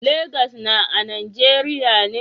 Lagos na a nageriya ne?